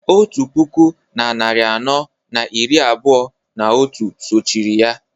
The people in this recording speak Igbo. otu puku na narị anọ na iri abụọ na otu sochiri ya